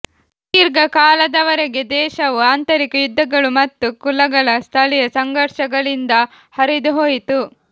ದೀರ್ಘಕಾಲದವರೆಗೆ ದೇಶವು ಆಂತರಿಕ ಯುದ್ಧಗಳು ಮತ್ತು ಕುಲಗಳ ಸ್ಥಳೀಯ ಸಂಘರ್ಷಗಳಿಂದ ಹರಿದುಹೋಯಿತು